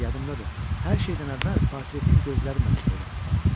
Yadımdadır, hər şeydən əvvəl portretin gözləri məni heyrətə saldı.